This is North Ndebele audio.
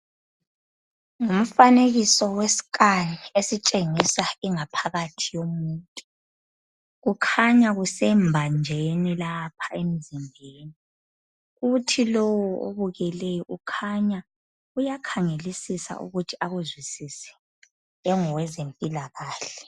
Ngumfanekiso wescan esitshengisa ingaphakathi yomuntu. Kukhanya kusembanjeni lapha emzimbeni. Kuthi lo obukeleyo ukhanya uyakhangelisisa ukuthi akuzwisise engowezempilakahle